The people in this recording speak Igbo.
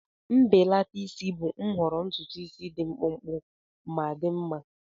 Mbelata isi bụ nhọrọ ntutu dị mkpụmkpụ ma dị mma.